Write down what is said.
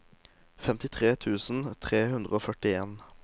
femtitre tusen tre hundre og førtien